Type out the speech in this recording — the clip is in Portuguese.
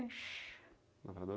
Lavrador?